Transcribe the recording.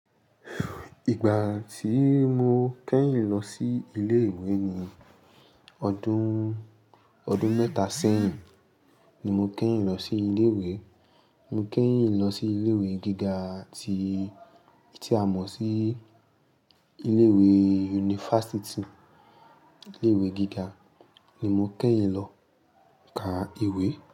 Ìgbà tí mo kẹ́yìn lọ sí ilé ìwé ni ọdún, ọdún mẹ́ta sẹ́yìn ni mo kẹ́yìn lọ sí ilé ìwé. Mo kẹ́yìn lọ sí ilé ìwé gíga tí, tí a mọ̀ sí ilé ìwé unifásítì. Ilé ìwé gíga ni mo kẹ́yìn lọ ka ìwé.